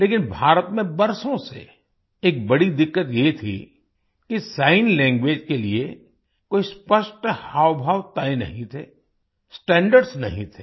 लेकिन भारत में बरसों से एक बड़ी दिक्कत ये थी कि सिग्न लैंग्वेज के लिए कोई स्पष्ट हावभाव तय नहीं थे स्टैंडर्ड्स नहीं थे